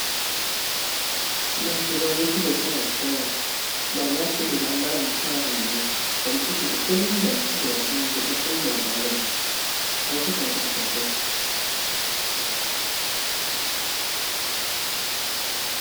Bato bauti kosala sport, ba lati bilamba ya mosala nango. Ba mosusu ba telemi ba mosusu ba vandi basimbi ba balon bazo kanga foto.